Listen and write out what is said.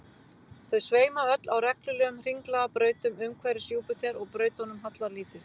Þau sveima öll á reglulegum hringlaga brautum umhverfis Júpíter og brautunum hallar lítið.